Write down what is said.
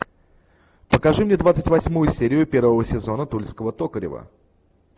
покажи мне двадцать восьмую серию первого сезона тульского токарева